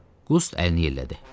Qust əlini yellədi.